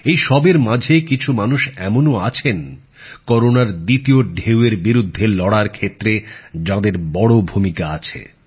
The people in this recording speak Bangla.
এই সবের মাঝে কিছু মানুষ এমনও আছেন করোনার দ্বিতীয় ঢেউয়ের বিরুদ্ধে লড়ার ক্ষেত্রে যাঁদের বড় ভূমিকা আছে